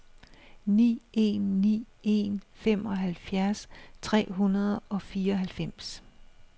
ni en ni en femoghalvfjerds tre hundrede og fireoghalvfems